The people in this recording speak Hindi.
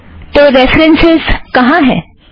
तो रेफ़रन्सस् कहाँ है